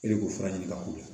E de b'o fura ɲini ka k'o la